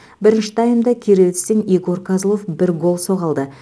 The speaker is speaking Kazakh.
бірінші таймда кировецтен егор козлов бір гол соға алды